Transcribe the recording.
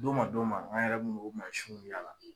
Don ma don ma an yɛrɛ bɛ na u mansinw yira a la